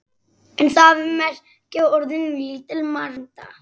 En það merkir lítil alda.